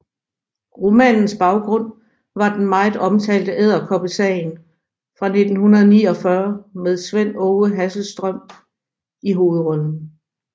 Romanens baggrund var den meget omtalte Edderkoppesagen fra 1949 med Svend Aage Hasselstrøm i hovedrollen